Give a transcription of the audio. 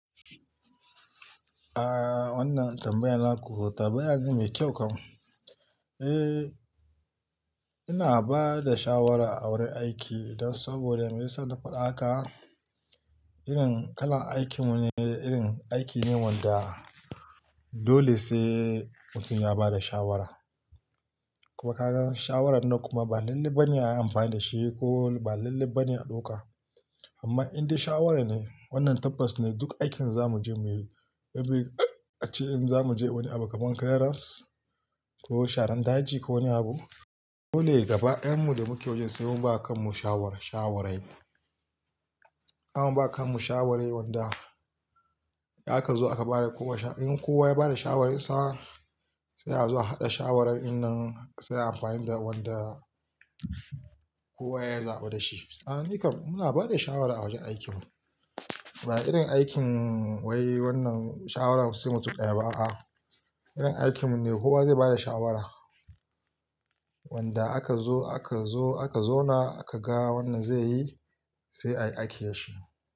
Aaa, wannan tambayan naƙo tambaya ne mai kyau kam. Eh, ina ba da shawara a wurin aiki dan saboda me sana faɗaka irin kalar aikin mu ne, irin aiki ne wanda dole sai mutum ya ba da shawara. Kuma ka gan shawaran nan kuma ba lallai ba ne ayi amfani da shi ko ba lallai ba ne a ɗauka. Amma in dai shawara ne, wannan tabbas ne duk aikin zamu je muyi, saboda a ce in zamu je wani abu kaman clearance ko sharan daji ko wani abu, dole gaba yanmu da muke waje sai mun ba kan mu shawara, shawarai. Zamu ba kan mu shawarai wanda aka zo aka bada kowa sha-- in kowa ya bada shawararsa sai a zo a haɗa shawaran in nan sai ayi amfani da wanda kowa ya zaɓi da shi. A nika muna bada shawara a wajen aikin. Ba irin aikin wai wannan shawara sai mutum ɗaya ba a. Irin aikin ne kowa zai bada shawara wanda aka zo, aka zo, aka zauna aka ga wannan zai yi sai ayi aiki da shi.